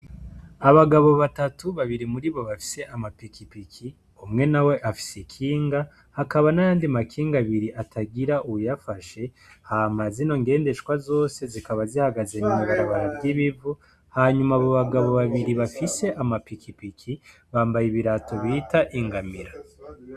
Abagabo batatu babiri muri bo bafise amapikipiki umwe nawe afise ikinga hakaba nayandi makinga abiri atagira uwuyafashe hama zino ngendeshwa zose zikaba zihagaze mw'ibarabara ry'ivu hanyuma abo bagabo babiri bafise amapikipiki bambaye ibirato bita ingamira.